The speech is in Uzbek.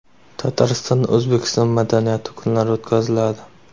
Tataristonda O‘zbekiston madaniyati kunlari o‘tkaziladi.